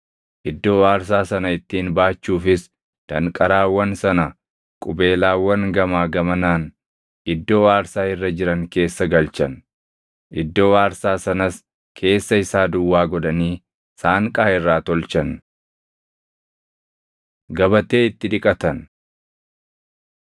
Iddoo aarsaa sana ittiin baachuufis danqaraawwan sana qubeelaawwan gamaa gamanaan iddoo aarsaa irra jiran keessa galchan. Iddoo aarsaa sanas keessa isaa duwwaa godhanii saanqaa irraa tolchan. Gabatee Itti Dhiqatan